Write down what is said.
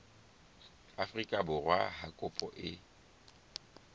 afrika borwa ha kopo e